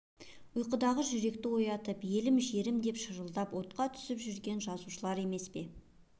ұйқыдағы жүректі оятып елім-жерім деп шырылдап отқа түсіп жүрген жазушылар емес пе